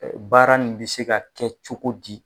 Baara nin bɛ se ka kɛ cogo di.